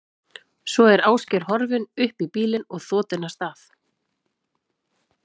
Svo er Ásgeir horfinn upp í bílinn og þotinn af stað.